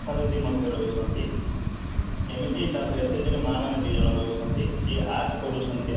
ଆଶା ଦିଦି ମଧ୍ୟ ରହୁଛନ୍ତି ଏମିତି ତାପରେ SAG ରେ ମାଆ ମାନେ ଦି ଜଣ ରହୁଛନ୍ତି art କରୁଛନ୍ତି